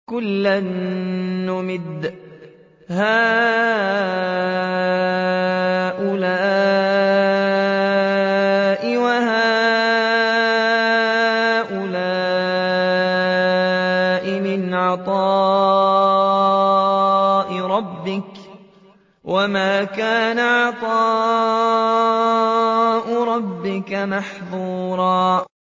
كُلًّا نُّمِدُّ هَٰؤُلَاءِ وَهَٰؤُلَاءِ مِنْ عَطَاءِ رَبِّكَ ۚ وَمَا كَانَ عَطَاءُ رَبِّكَ مَحْظُورًا